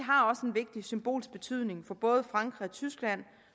vigtig symbolsk betydning for både frankrig og tyskland